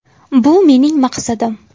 Bu mening maqsadim.